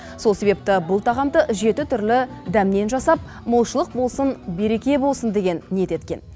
сол себепті бұл тағамды жеті түрлі дәмнен жасап молшылық болсын береке болсын деген ниет еткен